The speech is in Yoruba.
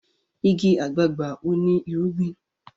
ìgi àgbagbà o ní irúgbìn.